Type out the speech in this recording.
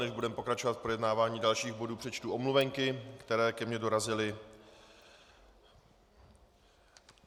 Než budeme pokračovat v projednávání dalších bodů, přečtu omluvenky, které ke mně dorazily.